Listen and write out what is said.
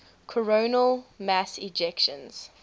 coronal mass ejections